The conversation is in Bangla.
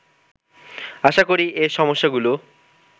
আশা করি এ সমস্যাগুলো